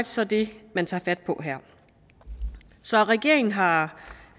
så det man tager fat på her så regeringen har